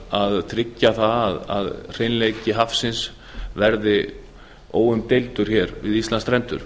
að tryggja það að hreinleiki hafsins verði óumdeildur við íslandsstrendur